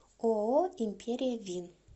ооо империя вин